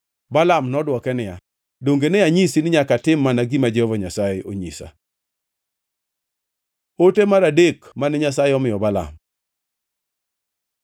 Balaam nodwoke niya, “Donge ne anyisi ni nyaka atim mana gima Jehova Nyasaye onyisa?” Ote mar adek mane Nyasaye omiyo Balaam